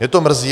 Mě to mrzí.